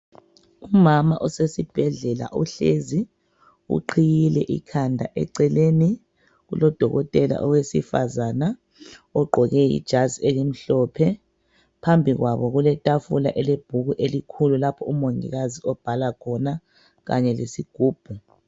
Umama usesibhedlela uhlezi, uqhiyile ikhanda eceleni kulodokotela owesifazana ogqoke ijazi elimhlophe, phambi kwabo kuletafula elebhuku elikhulu lapho umongikazi obhala khona kanye lesigubhu.